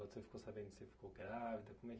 Quando você ficou sabendo que ficou grávida? Como é que